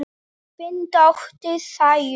Þín dóttir, Sæunn.